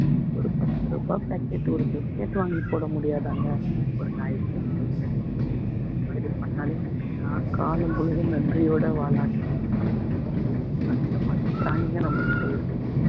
ஒரு பத்து ரூபாய் பாக்கெட் ஒரு buscuit வாங்கி போட முடியாதாங்க ஒரு நாய்க்கு இந்தமாதிரி பண்ணாலே நாய் காலம் முழுதும் நன்றியோட வால் ஆட்டிட்டு நம்ம பின்னாடி வரும் அந்த மாதிரி பிராணியே நம்மகிட்ட இருக்குது